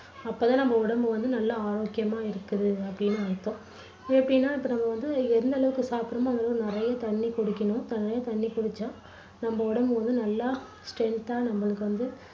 அப்போ தான் நம்ம உடம்பு வந்து நல்லா ஆரோக்கியமா இருக்குது அப்படின்னு அர்த்தம். எப்படின்னா இப்போ நம்ம வந்து எந்த அளவுக்கு சாப்பிடுறோமோ அந்த அளவு நிறைய தண்ணி குடிக்கணும். நிறைய தண்ணி குடிச்சா நம்ம உடம்பு வந்து நல்லா strength தா நம்மளுக்கு வந்து